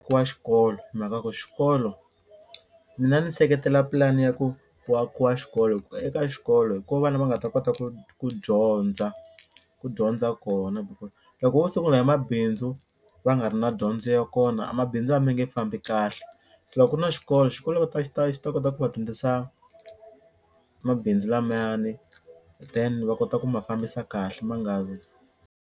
xikolo hi mhaka ku xikolo mina ni seketela pulani ya ku ku akiwa xikolo hi ku eka xikolo hi ko vana va nga ta kota ku ku dyondza ku dyondza kona because loko vo sungula hi mabindzu va nga ri na dyondzo ya kona a mabindzu a ma nge fambi kahle se loko ku ri na xikolo xikolo va ta xi ta xi ta kota ku va dyondzisa mabindzu lamayani then va kota ku ma fambisa kahle ma nga vi.